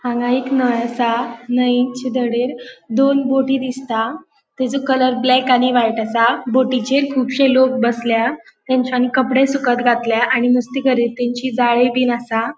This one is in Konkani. हांगा एक न्हय असा नै च्या दडियेर दोन बोटी दिसताता त्येचो कलर ब्लैक आणि व्हाइट असा बोटीचेर खुबशे लोक बसल्या तेन्चानी कपड़े सुकत घातल्या आणि नुस्ते गरेतींची जाळी बिन आसा.